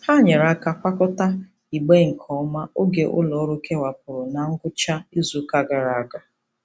Ha nyeere aka kwakọta igbe nke ọma oge ụlọọrụ kewapụrụ na ngwụcha izuụka gara aga.